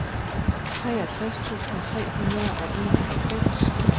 treogtres tusind tre hundrede og enoghalvfems